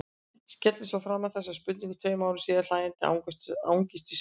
Skellir svo fram þessari spurningu tveim árum síðar, hlæjandi angist í svipnum.